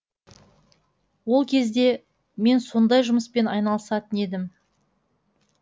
ол кезде мен сондай жұмыспен айналысатын едім